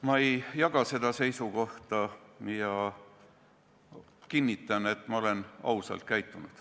Ma ei jaga seda seisukohta ja kinnitan, et ma olen ausalt käitunud.